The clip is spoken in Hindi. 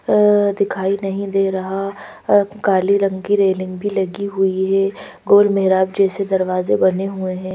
अह दिखाई नहीं दे रहा काले रंग की रेलिंग भी लगी हुई है गोल मेहराब जैसे दरवाजे बने हुए हैं।